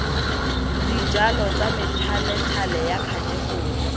dijalo tsa methalethale ya khatekori